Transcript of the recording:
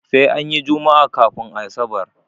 Sai anyi jummaa kafun asabar